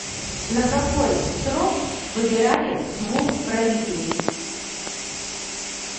на какой срок выбирали двух правителей